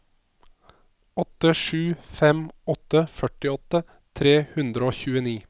åtte sju fem åtte førtiåtte tre hundre og tjueni